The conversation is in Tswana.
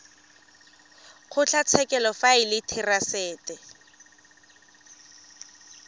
kgotlatshekelo fa e le therasete